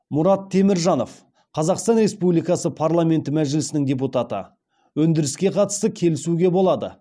мұрат теміржанов қазақстан республикасы парламенті мәжілісінің депутаты өндіріске қатысты келісуге болады